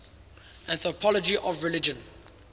anthropology of religion